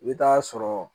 I bɛ taa sɔrɔ